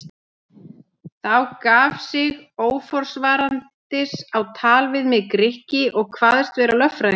Þá gaf sig óforvarandis á tal við mig Grikki og kvaðst vera lögfræðingur.